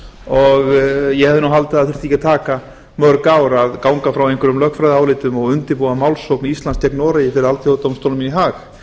og ég hefði nú haldið að það þyrfti ekki að taka mörg ár að ganga frá einhverjum lögfræðiálitum og undirbúa málsókn íslands gegn noregi fyrir alþjóðadómstólnum í hag